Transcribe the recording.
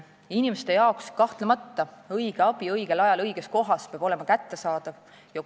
Inimestele kahtlemata peab õige abi õigel ajal õiges kohas kättesaadav olema.